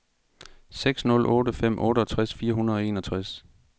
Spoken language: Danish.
seks nul otte fem otteogtres fire hundrede og enogtres